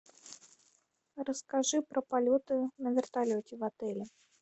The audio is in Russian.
расскажи про полеты на вертолете в отеле